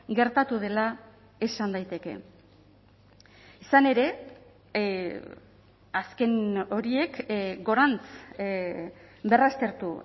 gertatu dela esan daiteke izan ere azken horiek gorantz berraztertu